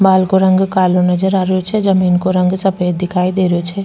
बाल को रंग कालो नजर आ रियो छे जमींन को रंग सफ़ेद दिखाई दे रियो छे।